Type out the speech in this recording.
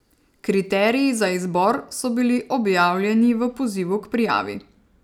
Kriteriji za izbor so bili objavljeni v pozivu k prijavi.